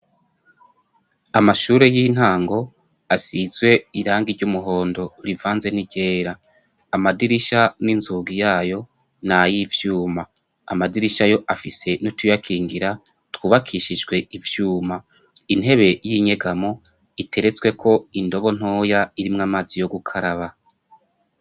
Amashure y'intango asizwe irangi ry'umuhondo rivanze n'igera amadirisha n'inzuga yayo ni ayo ivyuma amadirisha ayo afise nutuyakingira twubakishijwe ivyuma intebe y'inyegamo iteretswe ko indobo ntoya irimwo amazi yoga ukaraba.